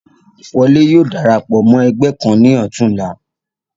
Wọlé yóò darapọ̀ mọ́ ẹgbẹ́ kan ní ọ̀tún la.